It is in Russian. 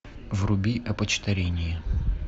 вруби опочтарение